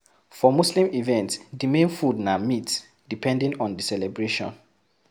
For muslim events, di main food na meat depending on di celebration